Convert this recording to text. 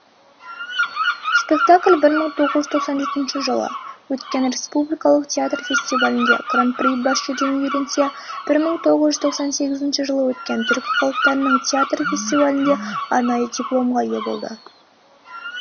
спектакль бір мың тоғыз жүз тоқсан жетінші жылы өткен республикалық театр фестивалінде гран при бас жүлдені иеленсе бір мың тоғыз жүз тоқсан сегізінші жылы өткен түркі халықтарының театр фестивалінде арнайы дипломға ие болды